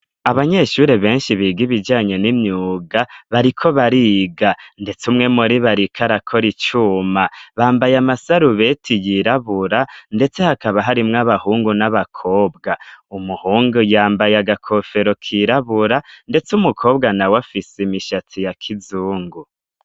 Abanyeshuri benshi biga ibijyanye n'imyuga, bariko bariga ,ndetse umwe muribo ariko arakora icuma ,bambaye amasarubeti yirabura ,ndetse hakaba harimw' abahungu ,n'abakobwa ,umuhungu yambaye agakofero kirabura ,ndetse umukobwa nawe afise imishatsi ya kizungu.